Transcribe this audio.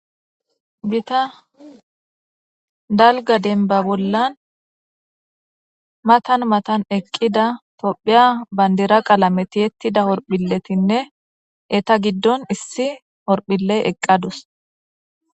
bita dalga denba bollan matan matan eqqida tophiya bandira qalame tiettida horphiletinne eta giddon issi horphile eqqadus